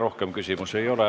Rohkem küsimusi ei ole.